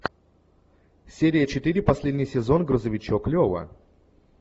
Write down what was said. серия четыре последний сезон грузовичок лева